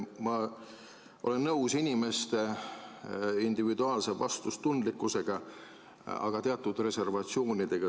Ma olen nõus inimeste individuaalse vastutustundega, aga teatud reservatsioonidega.